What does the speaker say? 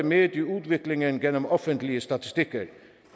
med i udviklingen gennem offentlige statistikker der